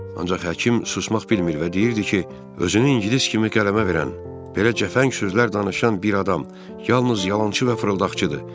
Ancaq həkim susmaq bilmir və deyirdi ki, özünü ingilis kimi qələmə verən, belə cəfəng sözlər danışan bir adam yalnız yalançı və fırıldaqçıdır.